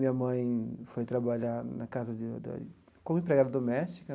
Minha mãe foi trabalhar na casa de da como empregada doméstica.